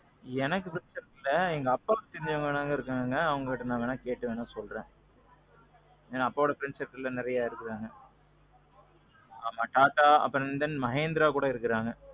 எனக்கு friends இல்ல. எங்க அப்பாக்கு வேணா இருக்காங்க. அப்பாகிட்ட கேட்டு வேணா சொல்றேன். ஏனா அப்பாவோட friends circle நெறையா இருக்காங்க. ஆமாம் Tata, அப்பறோம் Mahindraல கூட இருக்கிறாங்க.